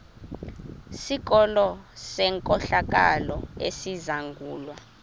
sikolo senkohlakalo esizangulwa